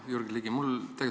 Hea Jürgen Ligi!